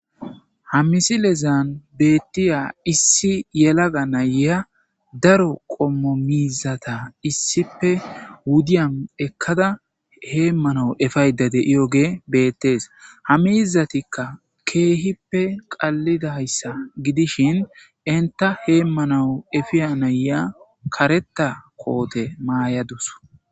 Ha misilezan betiza issi yelaga na'iya faro qomo mizata issipe wudiyan ekada heemana epiyda diyogey beetes ha miizatika keehippe qalidaysa gidishin enta hemanaw epiya nayiya kareta koote mayadus